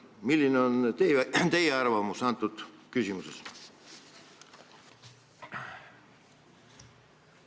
Milline on teie arvamus antud küsimuses?